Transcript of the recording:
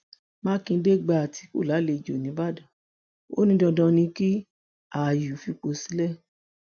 mákindé gba àtìkù lálejò nìbàdàn ò ní dandan ni kí àyù fipò sílẹ